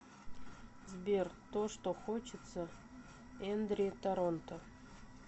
сбер то что хочется эндри торонто